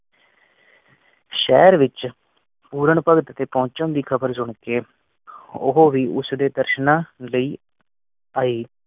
ਸ਼ਹਿਰ ਵਿਚ ਪੂਰਨ ਭਗਤ ਦੀ ਪਹੁੰਚਣ ਦੀ ਖ਼ਬਰ ਸੁਨ ਕੇ ਉਹ ਵੀ ਉਡਦੇ ਦਰਸ਼ਨਾਂ ਲਈ ਆਈ।